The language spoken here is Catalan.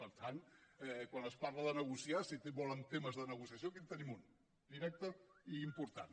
per tant quan es parla de negociar si volen temes de negociació aquí en tenim un directe i important